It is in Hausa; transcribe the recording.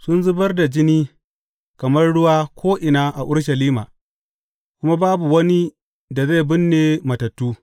Sun zubar da jini kamar ruwa ko’ina a Urushalima, kuma babu wani da zai binne matattu.